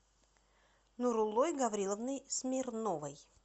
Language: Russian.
нуруллой гавриловной смирновой